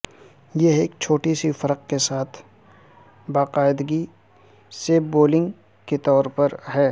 یہ ایک چھوٹی سی فرق کے ساتھ باقاعدگی سے بولنگ کے طور پر ہے